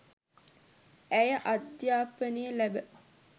ඇය අධ්‍යාපනය ලැබ